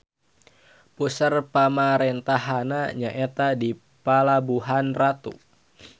Puser pamarentahanna nyaeta di Palabuhanratu.